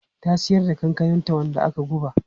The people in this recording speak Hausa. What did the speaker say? Ta siyar da kankananta wanda aka guba.